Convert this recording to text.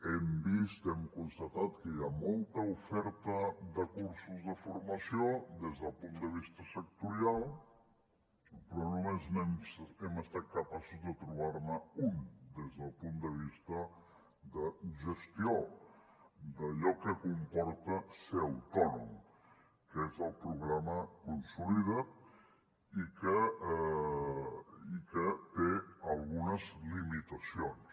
hem vist hem constatat que hi ha molta oferta de cursos de formació des del punt de vista sectorial però només hem estat capaços de trobar ne un des del punt de vista de gestió d’allò que comporta ser autònom que és el programa consolida’t i que té algunes limitacions